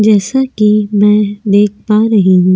जैसा कि मैं देख पा रही हूं ।